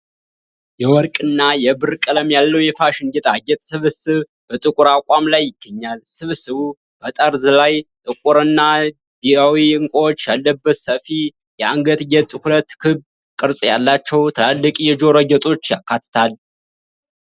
የወርቅና የብር ቀለም ያለው የፋሽን ጌጣጌጥ ስብስብ በጥቁር አቋም ላይ ይገኛል። ስብስቡ በጠርዝ ላይ ጥቁር እና ቢዩዊ ዕንቁዎች ያለበት ሰፊ የአንገት ጌጥ፣ ሁለት ክብ ቅርጽ ያላቸው ትላልቅ የጆሮ ጌጦች ያካትታል።